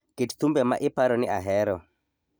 kit thumbe ma iparo ni ahero